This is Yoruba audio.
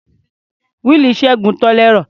Wíìlì Ṣẹ́gun tàn lẹ́rọ̀.